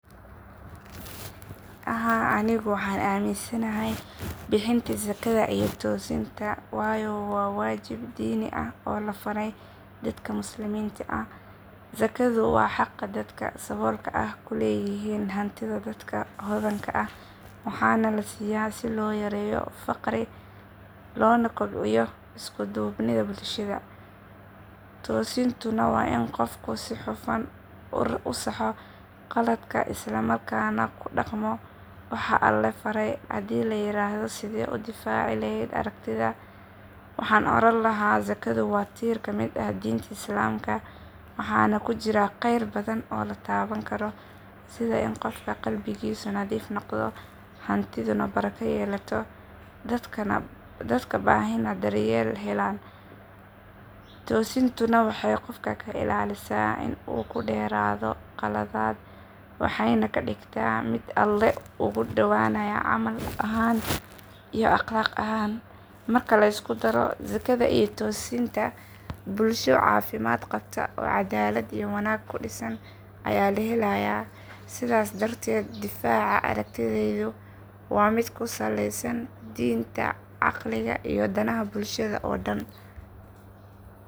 Haa anigu waxaan aaminsanahay bixinta zakada iyo toosinta waayo waa waajib diin ah oo la faray dadka muslimiinta ah. Zakadu waa xaqa dadka saboolka ah ku leeyihiin hantida dadka hodanka ah waxaana la siiyaa si loo yareeyo faqri loona kobciyo isku duubnida bulshada. Toosintuna waa in qofku si hufan u saxo khaladaadka isla markaana ku dhaqmo waxa Alle faray. Haddii la yiraahdo sidee u difaaci lahayd aragtidaada, waxaan oran lahaa zakadu waa tiir ka mid ah diinta islaamka waxaana ku jira kheyr badan oo la taaban karo sida in qofka qalbigiisu nadiif noqdo, hantiduna barako yeelato, dadka baahanina daryeel helaan. Toosintuna waxay qofka ka ilaalisaa in uu ku dheeraado qaladaad waxayna ka dhigtaa mid Alle uga dhowaanaya camal ahaan iyo akhlaaq ahaan. Marka la isku daro zakada iyo toosinta, bulsho caafimaad qabta oo caddaalad iyo wanaag ku dhisan ayaa la helayaa. Sidaas darteed, difaaca aragtidaydu waa mid ku saleysan diinta, caqliga iyo danaha bulshada oo dhan.